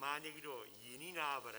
Má někdo jiný návrh?